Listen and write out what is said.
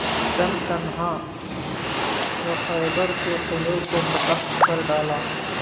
تن تنہا وہ خیبر کے قلعے کو فتح کر ڈالا